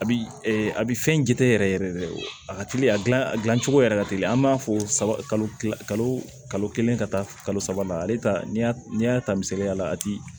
A bi a bi fɛn jate yɛrɛ yɛrɛ de a ka teli a gilan a gilancogo yɛrɛ ka teli an b'a fɔ kalo kalo kelen ka taa kalo saba la ale ta y'a n'i y'a ta misaliya la a ti